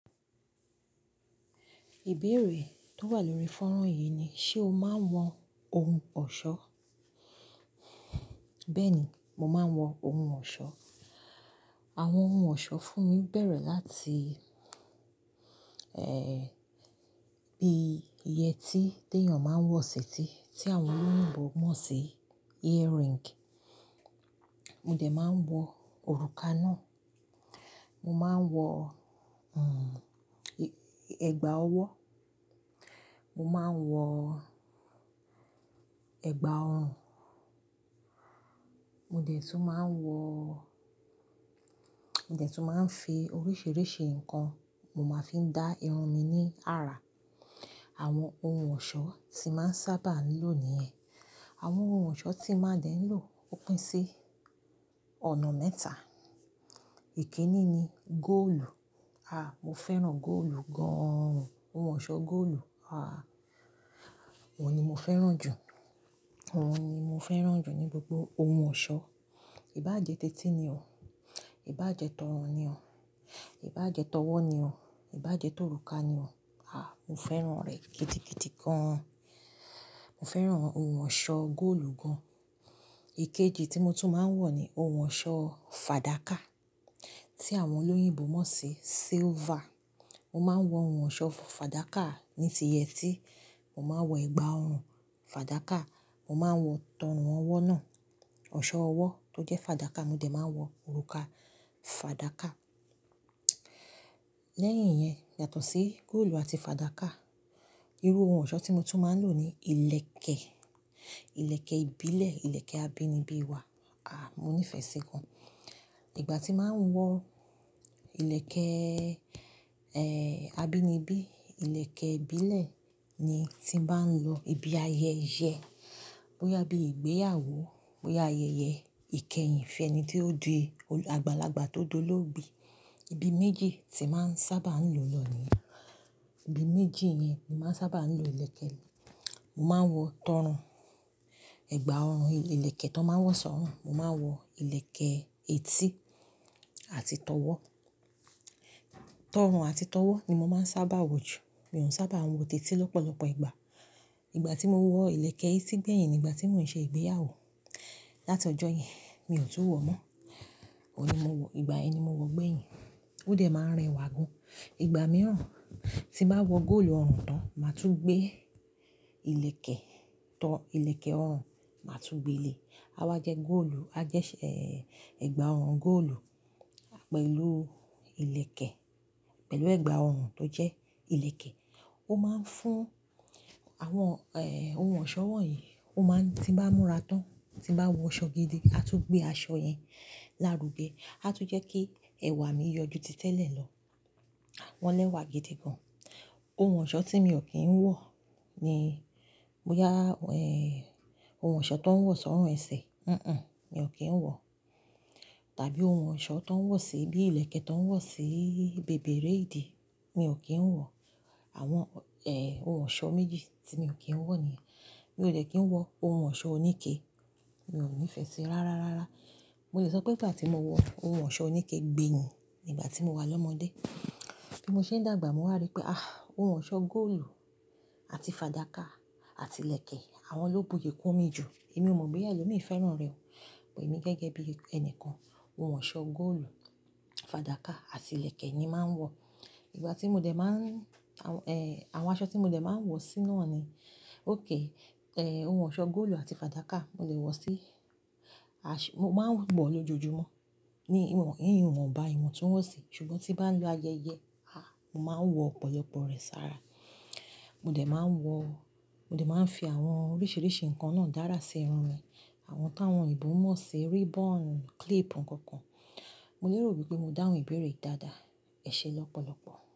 Ìbéèrè tó wà lórí fọ́nrán yìí ni, ṣe o máa ń wọ ohun ọ̀ṣọ́? Bẹ́ẹ̀ni, mo máa ń wọ ohun ọ̀ṣọ́. Àwọn ohun ọ̀ṣọ́ fún mi bẹ̀rẹ̀ láti, bí iye tí tí tẹ̀yàn máa ń wọ sí etí tí àwọn olóyìnbo mọ̀ sí ear ring. Mo dẹ̀ máa ń wọ òrùka náà. Mo máa ń wọ, ẹ̀gbà ọwọ́. Mo máa ń wọ ẹ̀gbà ọrùn. Mo dẹ̀ tún máa ń wọ, mo dẹ̀ tún máa ń fi oríṣìíríṣìí nǹkan, mo máa fi dá irun mi ní àrà. Àwọn ohun ọ̀ṣọ́ tí màá ń sábà lò nìyẹn. Àwọn ohun ọ̀ṣọ́ tí mo dẹ̀ ń lò ó pín sí ọ̀nà mẹ́ta. Èké ní ni góòlù. Mo fẹ́ràn góòlù gan. Ohun ọ̀ṣọ́ góòlù, Ohun ni mo fẹ́ràn jù. Wọ́n ni mo fẹ́ràn jù ní gbogbo ohun ọ̀ṣọ́. Ìbáje ti èti ni o. Ìbáje tọrọ ni o. Ìbáje tọwọ́ ni o. Ìbáje tirùka ni o. Mo fẹ́ràn rẹ̀ gịdigidi gan. Mo fẹ́ràn ohun ọ̀ṣọ́ góòlù gan-an. Ikéjíì tí mo tún máa ń wọ ni ohun eṣọ́ fàdákà tí àwọn olóyìnbo mọ̀ sí silver. Mo máa ń wọ ohun ọ̀ṣọ́ fàdákà ní ti yetí. Mo máa ń wọ ẹ̀gbà ọrùn fàdákà. Mo máa ń wọ ti orun ọwọ́ náà. Ọ̀ṣọ́ ọwọ́ tó jẹ́ fàdákà, mo dẹ̀ máa ń wọ òrùka fàdákà. Lẹ́yìn yẹn, yàtọ̀ sí góòlù àti fàdákà, irú ohun ọ̀ṣọ́ tí mo tún máa ń lò ni ilẹ̀kẹ̀. Ilẹ̀kẹ̀ ìbílẹ̀, ilẹ̀kẹ̀ abínibí wa. Mo nífẹ́ sí gan. Ìgbà tí màá ń wọ ilẹ̀kẹ̀, abínibí, ilẹ̀kẹ̀ ìbílẹ̀ ni tí n bá ń lọ ibi ayẹyẹ, bóyá bí ìgbéyàwó, bóyá ayẹyẹ ìkẹyìn fun eni tí ó di, àgbàlagbà tió di ológbe. Ibi méjì tí màá ń sábà ń lọ ni ye. Ibi méjì yẹn ni màá ń sábà ń lo ilẹ̀kẹ̀. Mo máa ń wọ tọrun, ẹ̀gbà ọrùn, ilẹ̀kẹ̀ tó máa ń wọ sọ́rùn. Mo máa ń wọ ilẹ̀kẹ̀ etí àti tọwọ́. Tọrun àti tọwọ́ ni mo máa ń sábà wọ jù. Mi ò sábà ń wọ ti eti lọ́pọ̀lọpọ̀ ìgbà. Ìgbà tí mo wọ ilẹ̀kẹ̀ etí gbẹ̀yìn ni ìgbà tí mò ń ṣe ìgbéyàwó. Láti ọjọ́ yẹn, mi ò tu wọ mọ́. Ó ni mo wọ, ìgbà yẹni mo wọ gbẹ̀yìn. Ó dẹ̀ máa ń rẹwà gan. Ìgbà mìíràn, tí mbàá wọ góòlù ọrùn tán, màá tún gbé ilẹ̀kẹ̀ tọ́ ilẹ̀kẹ̀ ọrùn, màá tún gbe le. A wá jẹ́ góòlù, a jẹ́ ṣé, ẹ̀gbà ọrùn góòlù pẹ̀lú ilẹ̀kẹ̀, pẹ̀lú ẹ̀gbà ọrùn tó jẹ́ ilẹ̀kẹ̀. Ó máa ń fún àwọn, ohun ọ̀ṣọ́ wọ̀nyí, ó máa, tí mbá múra tán, tí bá wọ ṣọ gidi, a tún gbé aṣọ yẹn lárugẹ. A tún jẹ́ kí ẹwà mi yọjú ti tẹ́lẹ̀ lọ. Wọ́n lẹ́wà gidi gan. Ohun eṣọ́ tí miò kí ń wọ ni bóyá, ohun ọ̀ṣọ́ tó ń wọ sọ́run ẹsẹ̀. Mi ò kí ń wọ. Tàbí ohun ọ̀ṣọ́ tó ń wọ sí bí i ilẹ̀kẹ̀ tó ń wọ sí bèbèré ìdí, mi ò kí ń wọ. Àwọn, ohun eṣọ́ méjì tí mi ò kí ń wọ nìyẹn. Mi ò dẹ́ kí ń wọ ohun eṣọ́ oníke. Mi ò nífẹ̀ẹ́ sí i ráárárá. Mo lè sọ pé nígbà tí mo wọ ohun ọ̀ṣọ́ oníke gbẹ́yìn ni ìgbà tí mo wà lọ́mọdé. Bí mo ṣe ń dàgbà, mo wà ri pé, Ohun ọ̀ṣọ́ góòlù àti fàdákà àti ilẹ̀kẹ̀, àwọn ló buyè kún mi jù. Èmi ò mọ̀ pé ẹlòmíì fẹ́ràn rẹ̀ o. Emi gẹ́gẹ́ bí ẹni kan, ohun eṣọ́ góòlù, fàdákà àti ilẹ̀kẹ̀ ni màá ń wọ. Ìgbà tí mo dẹ̀ máa ń, àwọn aṣọ tí mo dẹ̀ máa ń wọ síná ni, ókay, ohun eṣọ́ góòlù àti fàdákà mo lẹ̀ wọ sí aṣọ. Mo máa ń wọ̀ lọ jojùmọ́ ní ìwọ̀n, ní ìwọ̀nba, ìwọ̀n tuń wọ̀ sí. Ṣùgbọ́n tím bá lọ ayẹyẹ, Mo máa ń wọ ọ̀pọ̀lọpọ̀ rẹ̀ sára. Mo dẹ̀ máa ń wọ, mo dẹ̀ máa ń fi àwọn oríṣìíríṣìí nǹkan náà dára sí irun mi. Àwọn táwọn òyìnbó mọ̀ sí ribbon, clip nǹkan kan. Mo lérò wípé mo dáhùn ìbéèrè dáadáa. Ẹ ṣe lọ́pọ̀lọpọ̀.